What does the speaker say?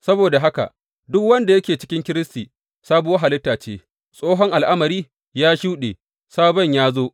Saboda haka, duk wanda yake cikin Kiristi, sabuwar halitta ce, tsohon al’amari ya shuɗe, sabon ya zo!